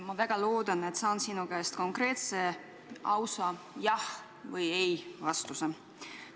Ma väga loodan, et saan sinu käest konkreetse ja ausa "Jah" või "Ei" vastuse.